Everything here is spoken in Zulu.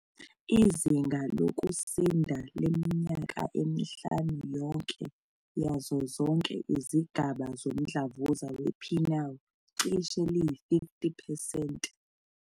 Izinga lokusinda leminyaka emihlanu yonke yazo zonke izigaba zomdlavuza we-penile cishe liyi-50 percent.